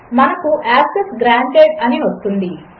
మనకు access granted అనివస్తుంది